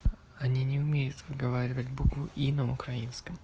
они не умеют выговаривать букву и на украинском